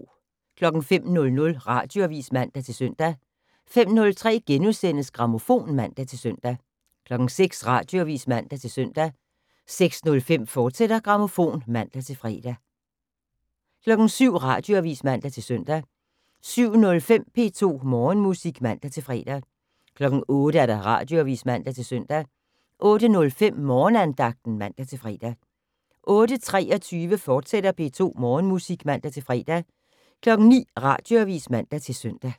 05:00: Radioavis (man-søn) 05:03: Grammofon *(man-søn) 06:00: Radioavis (man-søn) 06:05: Grammofon, fortsat (man-fre) 07:00: Radioavis (man-søn) 07:05: P2 Morgenmusik (man-fre) 08:00: Radioavis (man-søn) 08:05: Morgenandagten (man-fre) 08:23: P2 Morgenmusik, fortsat (man-fre) 09:00: Radioavis (man-søn)